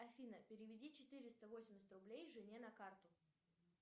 афина переведи четыреста восемьдесят рублей жене на карту